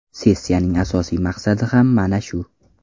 Sessiyaning asosiy maqsadi ham mana shu.